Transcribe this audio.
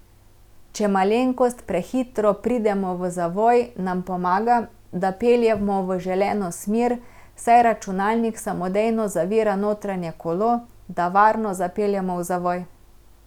Če malenkost prehitro pridemo v zavoj, nam pomaga, da peljemo v želeno smer, saj računalnik samodejno zavira notranje kolo, da varno zapeljemo v zavoj.